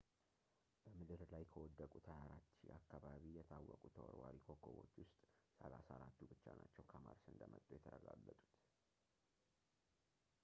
በምድር ላይ ከወደቁት 24,000 አካባቢ የታወቁ ተወርዋሪ ኮከቦች ውስጥ 34ቱ ብቻ ናቸው ከ ማርስ እንደመጡ የተረጋገጡት